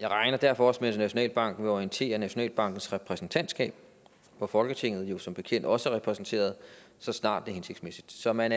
jeg regner derfor også med at nationalbanken vil orientere nationalbankens repræsentantskab hvor folketinget jo som bekendt også er repræsenteret så snart det er hensigtsmæssigt så man